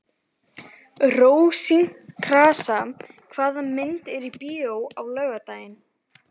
Rósinkransa, hvaða myndir eru í bíó á laugardaginn?